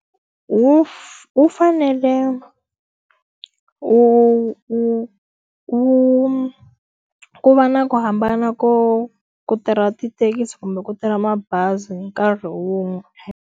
Wu wu fanele wu wu wu ku va na ku hambana ko ku ku tirha tithekisi kumbe ku tirha mabazi hi nkarhi wun'we .